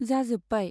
जाजोब्बाय ।